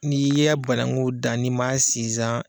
N'i ye banakun dan n'i ma sinsan